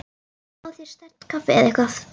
Fáðu þér sterkt kaffi eða eitthvað.